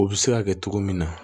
O bɛ se ka kɛ cogo min na